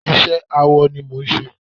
iṣẹ awọ ni mò ń ṣe